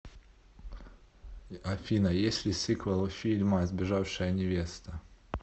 афина есть ли сиквел у фильма сбежавшая невеста